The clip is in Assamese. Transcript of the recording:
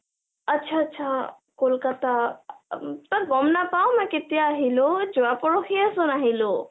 atcha atcha কলকতা তই গম নাপাও মই কেতিয়া আহিলো, যোৱা পৰহিয়েচোন আহিলো ।